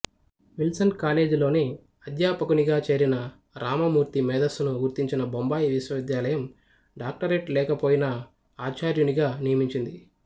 Wilson కాలేజీలోనే అధ్యాపకునిగా చేరిన రామమూర్తి మేధస్సును గుర్తించిన బొంబాయి విశ్వవిద్యాలయం డాక్టరేట్ లేకపోయినా ఆచార్యునిగా నియమించింది